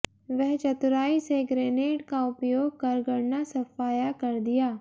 वह चतुराई से ग्रेनेड का उपयोग कर गणना सफाया कर दिया